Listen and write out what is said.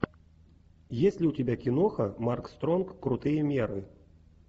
есть ли у тебя киноха марк стронг крутые меры